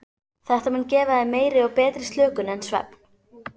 Þetta mun gefa þér meiri og betri slökun en svefn.